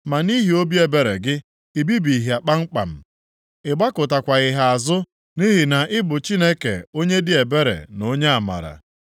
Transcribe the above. Ma nʼihi obi ebere gị i bibighị ha kpamkpam; ị gbakụtakwaghị ha azụ nʼihi na ị bụ Chineke onye dị ebere na onye amara.